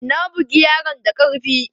Na bugi yaron da karfi!